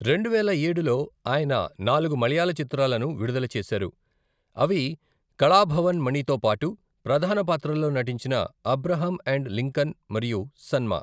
రెండువేల ఏడులో ఆయన నాలుగు మలయాళ చిత్రాలను విడుదల చేశారు, అవి కళాభవన్ మణితో పాటు ప్రధాన పాత్రల్లో నటించిన అబ్రహం అండ్ లింకన్ మరియు నన్మా .